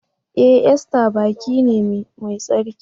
E! Easter baki ne mai tsarki.